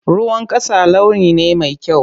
Ruwan ƙasa launi ne mai kyau.